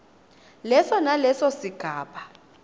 leso naleso sigaba